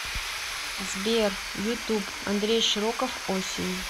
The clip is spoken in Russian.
сбер ютуб андрей широков осень